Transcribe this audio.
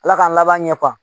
Ala k'an laban ye